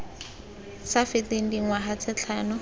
sa feteng dingwaga tse tlhano